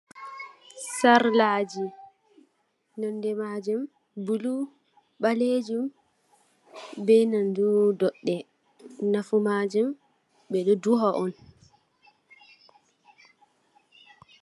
Sarlaji, nonde maajum bulu, ɓaleejum, be nandu doɗɗe, nafu majum ɓe ɗo duha on.